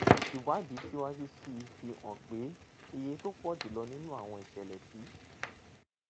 ìwádìí síwájú sí i fi hàn pé iye tó pọ̀ jù lọ nínú àwọn ìṣẹ̀lẹ̀ tí